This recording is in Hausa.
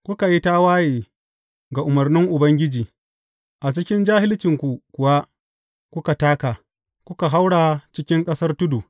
Kuka yi tawaye ga umarnin Ubangiji, a cikin jahilcinku kuwa kuka taka, kuka haura cikin ƙasar tudu.